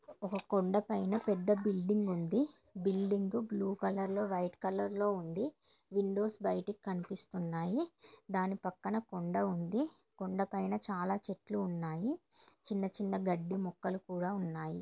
ఒక కొండా పైన పెద్ద బిల్డింగ్ ఉంది. బిల్డింగ్ బ్లూ కలర్లో వైట్ కలర్లో ఉంది. విండోస్ బయటకు కనిపిస్తూ ఉన్నాయి. దాని పక్కన కొండ ఉంది. కొండా పైన చాలా చెట్లు ఉన్నాయి. చిన్న చిన్న గడ్డి మొక్కలు కూడా ఉన్నాయి.